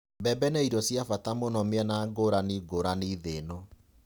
Mbembe nĩ irio cia bata mũno mĩena ngũrani ngũrani thĩ-ĩno.